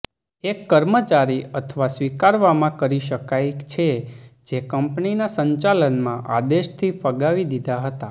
એક કર્મચારી અથવા સ્વીકારવામાં કરી શકાય છે જે કંપનીના સંચાલનમાં આદેશથી ફગાવી દીધા હતા